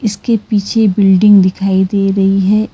उसके पीछे बिल्डिंग दिखाई दे रही है।